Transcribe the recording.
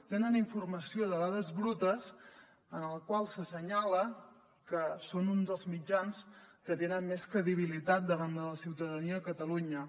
tenen informació de dades brutes en les quals s’assenyala que són uns dels mitjans que tenen més credibilitat davant de la ciutadania de catalunya